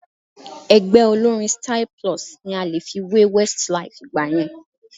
Ẹgbẹ́ olórín Styl-Plus ni a lè fi wé Westlife ìgbà yẹn